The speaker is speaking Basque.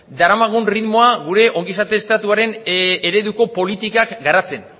daramagun erritmoa gure ongizate estatuaren ereduko politikak garatzen